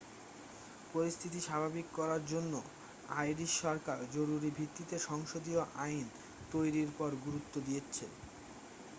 পরিস্থিতি স্বাভাবিক করার জন্য আইরিশ সরকার জরুরি ভিত্তিতে সংসদীয় আইন তৈরির উপর গুরুত্ব দিচ্ছে